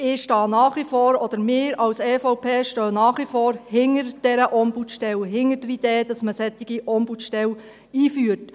Ich stehe nach wie vor, oder wir als EVP stehen nach wie vor hinter dieser Ombudsstelle, hinter der Idee, dass man eine solche Ombudsstelle einführt.